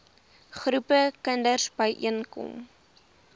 groepe kinders byeenkom